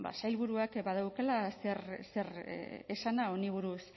sailburuak badaukala zer esana honi buruz